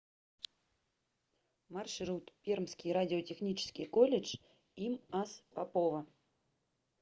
маршрут пермский радиотехнический колледж им ас попова